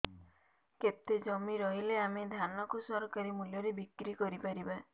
କେତେ ଜମି ରହିଲେ ଆମେ ଧାନ କୁ ସରକାରୀ ମୂଲ୍ଯରେ ବିକ୍ରି କରିପାରିବା